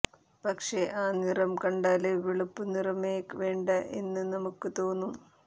പക്ഷെ ആ നിറം കണ്ടാല് വെളുപ്പ് നിറമേ വേണ്ട എന്ന് നമുക്ക് തോന്നും